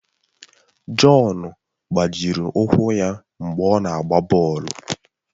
Jọn gbajiri ụkwụ ya mgbe ọ na-agba bọọlụ